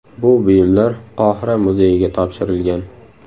Bu buyumlar Qohira muzeyiga topshirilgan.